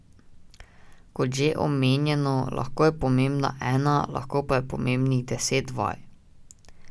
Kot že omenjeno, lahko je pomembna ena, lahko pa je pomembnih deset vaj.